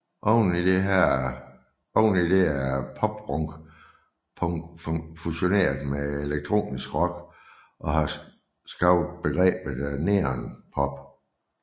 Oven i det er pop punk fusioneret med elektronisk rock og har skabt begrebet neon pop